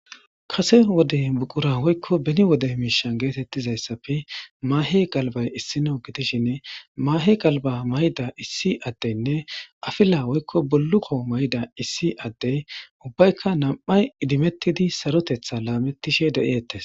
Kase wodey buqura woykko beni wode miishan geetettizayssafe maahe galbay issino gitishinne maahe galba mayda issi addeynne afila hoykko bolluko mayda issi addey ubbayka nam7ay idimettidi sarotetha laamettishe deettes